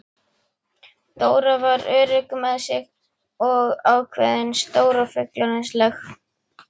Dóra var örugg með sig og ákveðin, stór og fullorðinsleg.